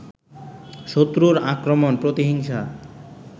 শত্রুর আক্রমণ, প্রতিহিংসা